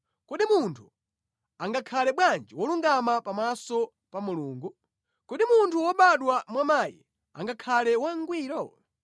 Kodi munthu angakhale bwanji wolungama pamaso pa Mulungu? Kodi munthu wobadwa mwa mayi angakhale wangwiro?